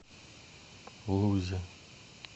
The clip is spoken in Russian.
лузе